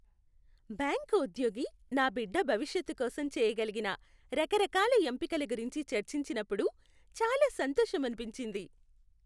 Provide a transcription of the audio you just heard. Bank ఉద్యోగి నా బిడ్డ భవిష్యత్తు కోసం చేయగలిగిన రకరకాల ఎంపికల గురించి చర్చించినప్పుడు చాలా సంతోషమనిపించింది.